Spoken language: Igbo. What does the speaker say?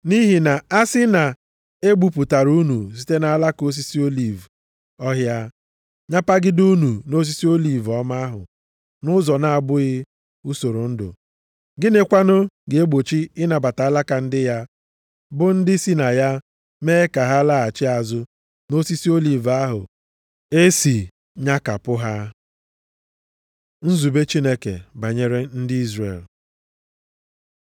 Nʼihi na asị na e gbupụtara unu site nʼalaka osisi oliv ọhịa, nyapagide unu nʼosisi oliv ọma ahụ nʼụzọ na-abụghị usoro ndụ, gịnị kwanụ ga-egbochi ịnabata alaka ndị ya, bụ ndị si na ya, mee ka ha laghachi azụ nʼosisi oliv ahụ e si nyakapụ ha. Nzube Chineke banyere ndị Izrel